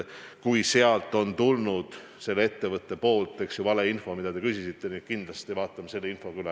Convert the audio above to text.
Kui sealt ettevõttest on tulnud valeinfo, siis kindlasti vaatame ka selle info üle.